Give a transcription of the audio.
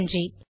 நன்றி